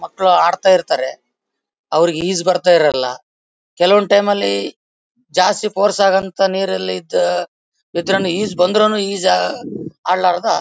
ಮಕ್ಕಳು ಆಡ್ತಾ ಇರ್ತಾರೆ ಅವರಿಗೆ ಈಜು ಬರ್ತಾ ಇರಲ್ಲ ಕೆಲವೊಂದು ಟೈಮ್ ಲಿ ಜಾಸ್ತಿ ಫೋರ್ಸ್ ಆಗಂತ ನೀರಲ್ಲಿ ಇದ್ದ ಇದ್ರೇನು ಈಜು ಬಂದ್ರೇನು ಈಜು ಆಡಲಾರದೆ--